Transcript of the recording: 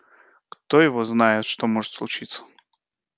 кто его знает что может случиться